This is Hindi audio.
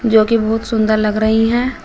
जोकि बहुत सुंदर लग रही हैं।